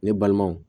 Ne balimanw